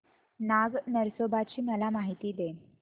नाग नरसोबा ची मला माहिती दे